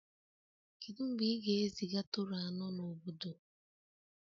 Kedu mgbe ị ga-eziga Toro anọ n'obodo?